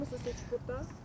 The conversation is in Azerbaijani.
Rastlaşmısınız heç burda?